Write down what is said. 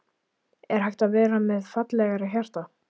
Er hægt að vera með fallegra hjarta?